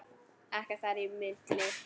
Ekkert þar á milli.